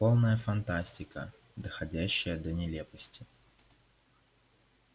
полная фантастика доходящая до нелепости